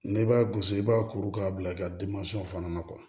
N'i b'a gosi i b'a kuru k'a bila i ka fana na